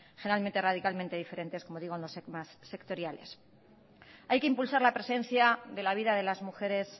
generalmente radicalmente diferentes en los temas sectoriales hay que impulsar la presencia de la vida de las mujeres